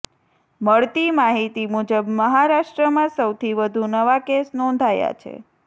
મળતી માહિતી મુજબ મહારાષ્ટ્રમાં સૌથી વધુ નવા કેસ નોંધાયા છે